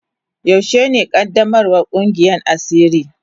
Yaushe ne qaddamarwan Kungiyan asiri.